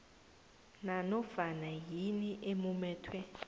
nanofana yini emumethwe